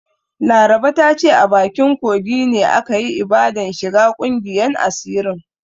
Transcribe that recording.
Laraba ta ce a bakin kogi ne aka yi ibadan shiga ƙungiyan asirin.